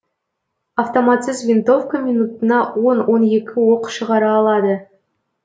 автоматсыз винтовка минутына он он екі оқ шығара алады